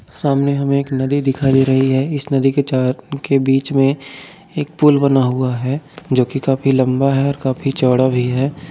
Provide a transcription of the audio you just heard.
सामने हमें एक नदी दिखाइ दे रही है। इस नदी के चार के बिच में एक पुल बना हुआ है जोकि काफी लंबा है और काफी चौरा भी है।